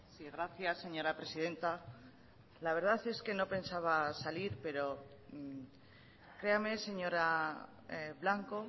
sí gracias señora presidenta la verdad es que no pensaba salir pero créame señora blanco